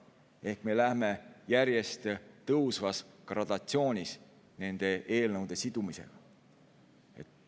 Ehk me läheme järjest tõusvas gradatsioonis nende eelnõude sidumisega.